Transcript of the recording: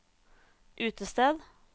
utested